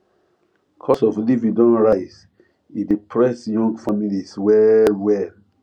cost of living don rise e dey press young families well well